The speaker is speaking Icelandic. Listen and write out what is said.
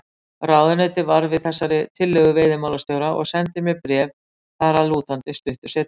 Ráðuneytið varð við þessari tillögu veiðimálastjóra og sendi mér bréf þar að lútandi stuttu seinna.